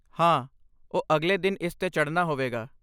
ਹਾਂ, ਉਹ ਅਗਲੇ ਦਿਨ ਇਸ 'ਤੇ ਚੜ੍ਹਨਾ ਹੋਵੇਗਾ।